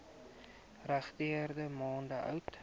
regterdy maande oud